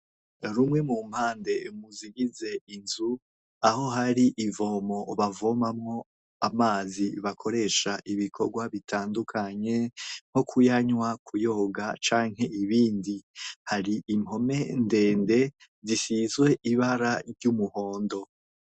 Rumwe mu mpande muzigize inzu aho hari ivomo bavomamwo amazi bakoresha ibikorwa bitandukanye nko kuyanywa kuyoga canke ibindi, hari impome ndende zisizwe ibara ry'umuhondo.